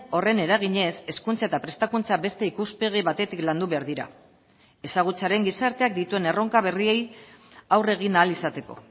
horren eraginez hezkuntza eta prestakuntza beste ikuspegi batetik landu behar dira ezagutzaren gizarteak dituen erronka berriei aurre egin ahal izateko